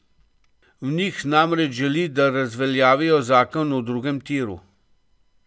Od njih namreč želi, da razveljavijo zakon o drugem tiru.